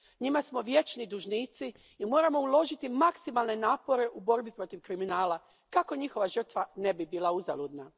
Njima smo vječni dužnici i moramo uložiti maksimalne napore u borbi protiv kriminala kako njihova žrtva ne bi bila uzaludna.